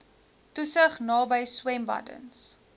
toesig naby swembaddens